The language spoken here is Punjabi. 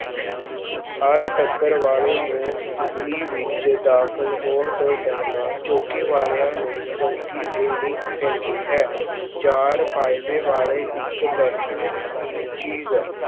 ਹਰ ਵਾਲੇ ਨੂੰ ਦਿੱਲੀ ਵਿੱਚ ਦਾਖਲ ਹੋਣ ਤੋਂ ਪਹਿਲਾਂ ਚੌਂਕੀ ਵਾਲਿਆਂ ਨੂੰ ਚੰਗੀ ਦੇਣੀ ਪੈਂਦੀ ਹੈ, ਚਾਰ ਵਾਲੇ ਇੱਕ ਬੈਠਣ ਦੀ ਚੀਜ਼